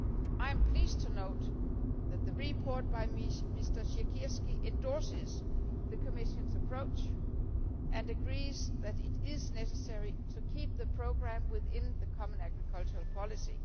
I am pleased to note that the report by Mr Siekierski endorses the Commission's approach and agrees that it is necessary to keep the programme within the common agricultural policy.